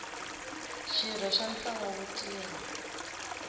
xirho xa ntlawa wo tirha